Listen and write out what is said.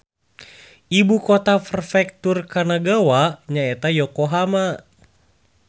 Ibu kota Prefektur Kanagawa nyaeta Yokohama